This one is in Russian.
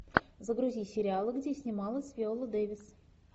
загрузи сериалы где снималась виола дэвис